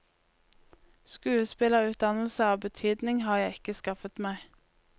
Skuespillerutdannelse av betydning har jeg ikke skaffet meg.